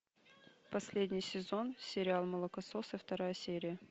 последний сезон сериал молокососы вторая серия